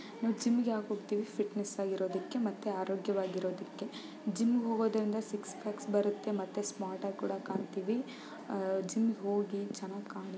ನಾವು ಜಿಮ್ಮಿಗೆ ಯಾಕೆ ಹೋಗ್ತಿವಿ ಫಿಟ್ನೆಸ್ ಆಗಿರುವುದಕ್ಕೆ ಮತ್ತೆ ಆರೋಗ್ಯವಾಗಿರುವುದಕ್ಕೆ ಜಿಮ್ ಗೆ ಹೋಗೋದಿಂದ ಸಿಕ್ಸ್ ಪ್ಯಾಕ್ ಬರುತ್ತೆ ಮತ್ತೆ ಸ್ಮಾರ್ಟ್ ಕೂಡ ಕಾಣಿಸ್ತೀವಿ ಜಿಮ್ಮಿಗೆ ಹೋಗಿ ಚೆನ್ನಾಗಿ ಕಾಣುತ್ತೆ --